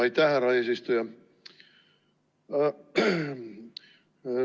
Aitäh, härra eesistuja!